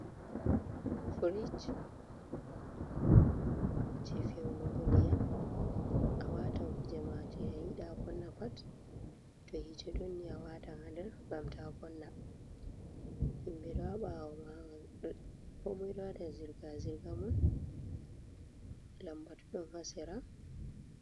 Firij je feunugo ndiyam, a watan kujema jei ayiɗa vonna pat to hite ɗonni a watan ha ndar ngam ta vonna, himɓe ɗoha ɓawo komoi ɗowaɗa zirga zirgamum lambatu ɗon hasera.